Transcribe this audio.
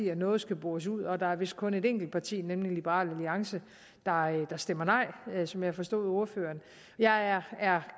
noget skal bores ud og der er vist kun et enkelt parti nemlig liberal alliance der stemmer nej som jeg forstod ordføreren jeg er er